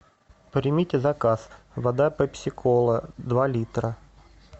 примите заказ вода пепси кола два литра